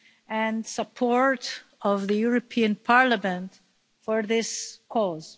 and support of the European Parliament for this cause.